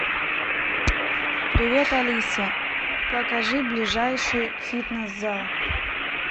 привет алиса покажи ближайший фитнес зал